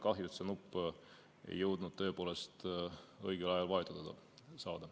Kahju, et seda nuppu ei jõudnud tõepoolest õigel ajal vajutada.